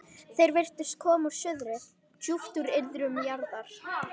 Þeir virtust koma úr suðri, djúpt úr iðrum jarðar.